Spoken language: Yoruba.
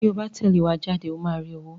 Tí o bá tẹ̀lé wa jáde ó máa rí owó.